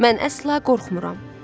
Mən əsla qorxmuram.